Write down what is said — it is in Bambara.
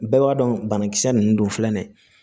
Bɛɛ b'a dɔn banakisɛ nunnu don filɛ nin ye